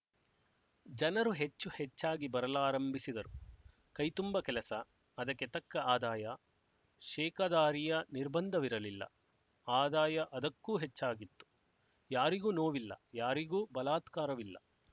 ಜನರು ಹೆಚ್ಚು ಹೆಚ್ಚಾಗಿ ಬರಲಾರಂಭಿಸಿದರು ಕೈತುಂಬ ಕೆಲಸ ಅದಕ್ಕೆ ತಕ್ಕ ಆದಾಯ ಶೇಕದಾರಿಯ ನಿರ್ಬಂಧವಿರಲಿಲ್ಲ ಆದಾಯ ಅದಕ್ಕೂ ಹೆಚ್ಚಾಗಿತ್ತು ಯಾರಿಗೂ ನೋವಿಲ್ಲ ಯಾರಿಗೂ ಬಲಾತ್ಕಾರವಿಲ್ಲ